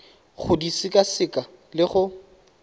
go di sekaseka le go